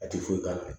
A ti foyi k'a la